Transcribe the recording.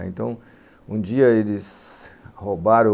Então, um dia eles.... roubaram